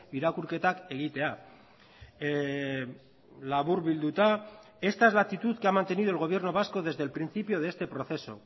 irakurketak egitea laburbilduta esta es la actitud que ha mantenido el gobierno vasco desde el principio de este proceso